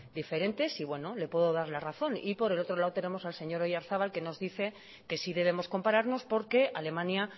diferentes y bueno le puedo dar la razón y por el otro lado tenemos al señor oyarzabal que nos dice que sí debemos compararnos porque alemania